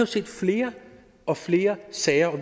ser flere og flere sager